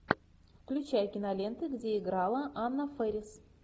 включай киноленты где играла анна фэрис